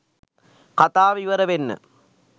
කතාව ඉවර වෙන්න